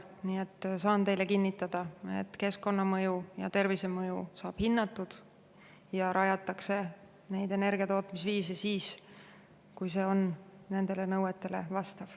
Nii et saan teile kinnitada, et keskkonnamõju ja tervisemõju saab hinnatud ja neid energiatootmisviise rajatakse siis, kui see on nendele nõuetele vastav.